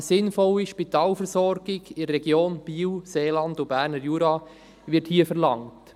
Eine «sinnvolle Spitalversorgung in der Region Biel, Seeland und Berner Jura» wird hier verlangt.